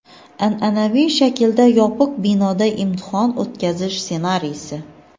an’anaviy shaklda yopiq binoda imtihon o‘tkazish ssenariysi.